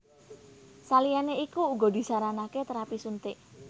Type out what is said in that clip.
Saliyané iku uga disaranaké térapi suntik